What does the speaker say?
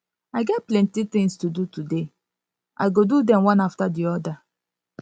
i get plenty tins to do today i go do dem one afta di oda